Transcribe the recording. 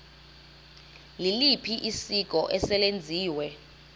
liliphi isiko eselenziwe